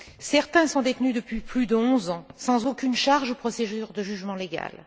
Certains sont détenus depuis plus de onze ans sans aucune inculpation ou procédure de jugement légale.